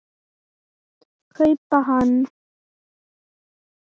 kaupa hann.